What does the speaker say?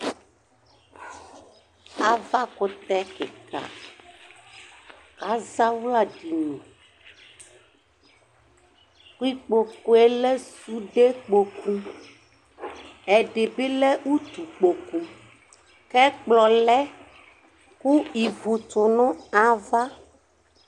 Avakʋtɛ kɩka, kʋ azawla edini, kʋ ikpokʋ yɛ lɛ sudekpoku, ɛdɩ bɩ lɛ utukpoku Kʋ ɛkplɔ lɛ, kʋ ivu tʋ nʋ ava